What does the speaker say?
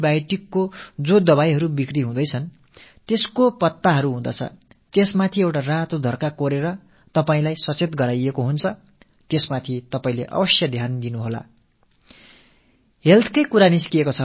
அரசு ஆன்டிபயோட்டிக் resistanceஐ தடுப்பதில் உறுதியாக இருக்கிறது இப்போதெல்லாம் விற்கப்படும் antibioticமருந்துகள் பட்டையின் மேலே சிவப்பு நிறத்தில் ஒரு கோடு வரையப்பட்டிருப்பதை நீங்கள் கவனித்திருக்கலாம் இது உங்களுக்கு விழிப்புணர்வை ஏற்படுத்தத் தான் இதில் உங்கள் கவனத்தைச் செலுத்துங்கள்